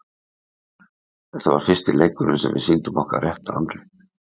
Þetta var fyrsti leikurinn sem við sýnum okkar rétta andlit.